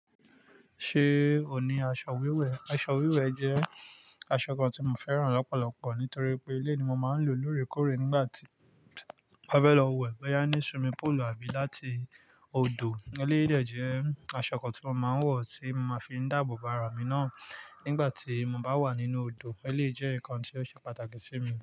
Ṣé ò ní aṣọ wíwẹ̀? Aṣọ wíwẹ̀ jẹ́ aṣọ kan tí mo fẹ́ràn lọ́pọ̀lọpọ̀ nítorí pé eleyi ni mo máa ń lò lóòrèkóòrè nígbà tí mo fẹ́ lọ wẹ̀, bóyá ní swimming póòlù àbí láti odò. Eléyìí de jẹ́ aṣọ kan tí mo máa ń wọ̀ tí máa fi ń dáàbò bo ara mi náà nígbà tí mo bá wà nínú odò. Eléyìí jẹ́ nǹkan tí ó ṣe pàtàkì sí mi.